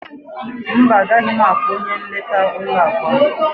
Mba, agaghị m akpọ onye nleta ụlọ akụ a.